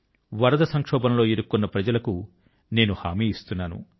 వరద సంక్షోభం లో ఇరుక్కున్న ప్రజల కు నేను హామీ ఇస్తున్నాను